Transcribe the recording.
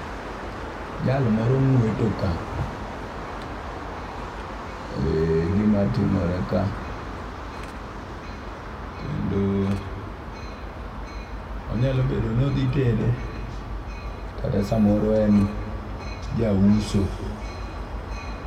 Jal moro ng'weto ka e gimatimore ka kendo onyalo bedo nodhi tedo kata samoro en jauso.